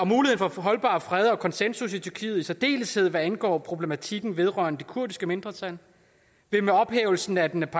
for at få holdbar fred og konsensus i tyrkiet i særdeleshed hvad angår problematikken vedrørende det kurdiske mindretal vil med ophævelsen af den